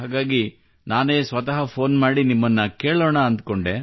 ಹಾಗಾಗಿ ನಾನೇ ಸ್ವತಃ ಫೋನ್ ಮಾಡಿ ನಿಮ್ಮನ್ನು ಕೇಳೋಣ ಎಂದುಕೊಂಡೆ